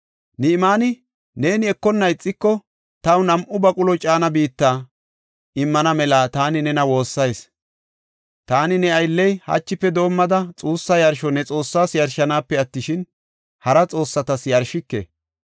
Ni7imaani, “Neeni ekonna ixiko, taw nam7u baqulo caana biitta immana mela taani nena woossayis. Taani ne aylley hachife doomada xuussa yarsho ne Xoossaa yarshanaape attishin, hara xoossatas yarshike.